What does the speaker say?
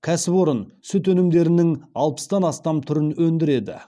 кәсіпорын сүт өнімдерінің алпыстан астам түрін өндіреді